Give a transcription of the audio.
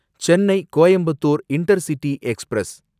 Chennai Coimbatore intercity express